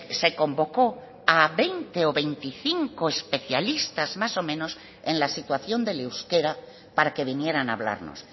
se convocó a veinte o veinticinco especialistas más o menos en la situación del euskera para que vinieran a hablarnos